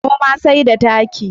Noma sai da taki.